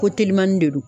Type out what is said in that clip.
Ko telimani de don